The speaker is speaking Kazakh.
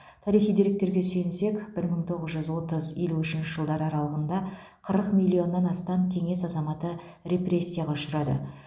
тарихи деректерге сүйенсек бір мың тоғыз жүз отыз елу үшінші жылдар аралығында қырық миллионнан астам кеңес азаматы репрессияға ұшырады